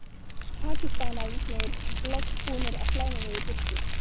Pakistanarnir loks búnir að flæma mig í burtu.